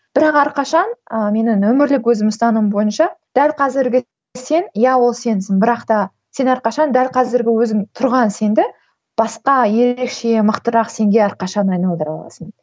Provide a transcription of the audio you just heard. бірақ әрқашан ыыы менің өмірлік өзімнің ұстанымым бойынша дәл қазіргі сен иә ол сенсің бірақ та сен әрқашан дәл қазіргі өзің тұрған сенді басқа ерекше мықтырақ сенге әрқашан айналдыра аласың